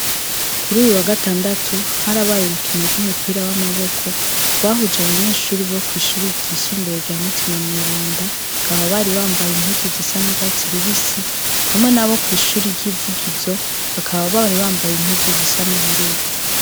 Kuruyu wagatandatu harabaye urukino rwumupira wamaboko rwahuje abayeshure bo kwishure ryisumbuye rya mutima mweranda bakaba bari bambaye impuzu zisa nurwatsi rubisi hamwe nabo kwishure ryivugizo bakaba bari bambaye impuzu zisa nubururu.